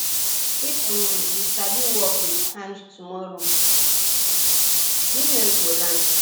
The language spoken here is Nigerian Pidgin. if um you sabi work with hand tomorrow business go land